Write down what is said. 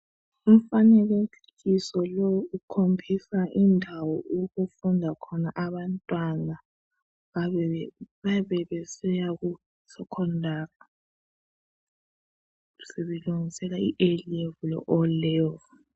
Umfanekiso lowu ukhombisa indawo okufunda khona abantwana. Bayabe besiya kuSekhondari sebelungisela i"A level " le"O level".